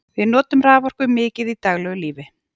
við notum raforku mikið í daglegu lífi